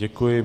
Děkuji.